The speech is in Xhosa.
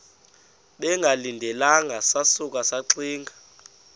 bengalindelanga sasuka saxinga